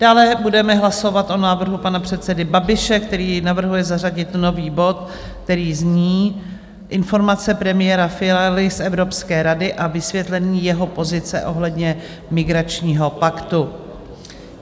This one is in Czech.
Dále budeme hlasovat o návrhu pana předsedy Babiše, který navrhuje zařadit nový bod, který zní Informace premiéra Fialy z Evropské rady a vysvětlení jeho pozice ohledně migračního paktu.